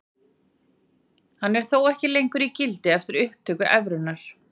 Hann er þó ekki lengur í gildi eftir upptöku evrunnar.